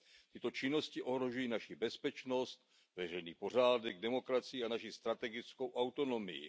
Tyto činnosti ohrožují naši bezpečnost, veřejný pořádek, demokracii a naši strategickou autonomii.